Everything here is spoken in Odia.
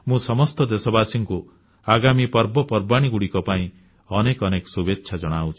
ମୁଁ ସମସ୍ତ ଦେଶବାସୀଙ୍କୁ ଆଗାମୀ ପର୍ବପର୍ବାଣୀଗୁଡ଼ିକ ପାଇଁ ଅନେକ ଅନେକ ଶୁଭେଚ୍ଛା ଜଣାଉଛି